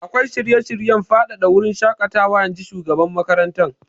Akwai shirye-shiryen faɗaɗa wurin shaƙatawa, in ji shugaban makarantar.